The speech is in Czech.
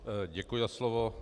Děkuji za slovo.